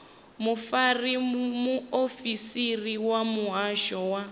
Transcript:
mufarisa muofisiri wa muhasho wa